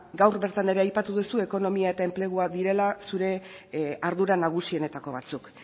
gaur bertan ere aipatu duzu ekonomia eta enplegua direla zure ardura nagusienetako batzuk